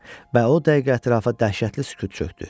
Və o dəqiqə ətrafa dəhşətli sükut çökdü.